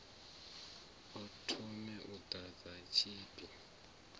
a thome u ḓadza tshipi